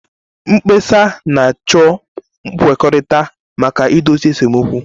Mkpesa na-achọ nkwekọrịta maka idozi esemokwu.